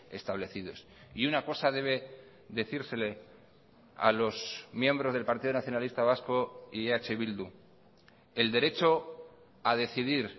establecidos y una cosa debe decírsele a los miembros del partido nacionalista vasco y eh bildu el derecho a decidir